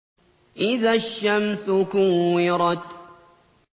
إِذَا الشَّمْسُ كُوِّرَتْ